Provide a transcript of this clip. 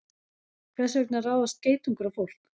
Hvers vegna ráðast geitungar á fólk?